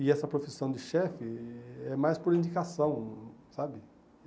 E essa profissão de chefe é mais por indicação, sabe?